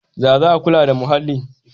Ya za a kula da muhalli?